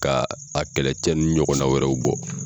Ka a kɛlɛcɛnni ɲɔgɔnna wɛrɛw bɔ.